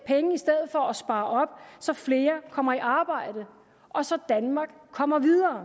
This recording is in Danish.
for at spare op så flere kommer i arbejde og så danmark kommer videre